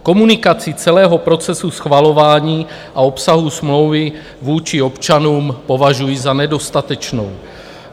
Komunikaci celého procesu schvalování a obsahu smlouvy vůči občanům považuji za nedostatečnou.